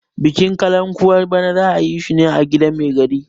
bikin kalankuwar bana za a yi shi a gidan Mai gari